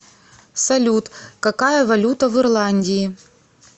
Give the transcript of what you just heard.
салют какая валюта в ирландии